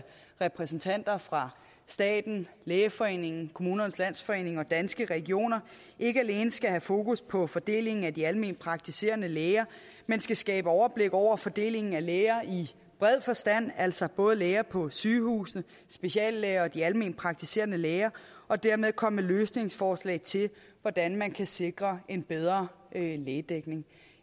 repræsentanter fra staten lægeforeningen kommunernes landsforening og danske regioner ikke alene skal have fokus på fordelingen af de alment praktiserende læger men skal skabe overblik over fordelingen af læger i bred forstand altså både læger på sygehusene speciallæger og de almenpraktiserende læger og dermed komme med løsningsforslag til hvordan man kan sikre en bedre lægedækning